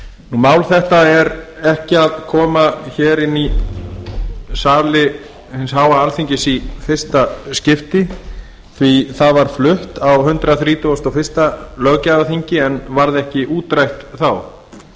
mál þetta er ekki að koma inn í sali hins háa alþingis í fyrsta skipti því það var flutt á hundrað þrítugasta og fyrsta löggjafarþingi en varð ekki útrætt þá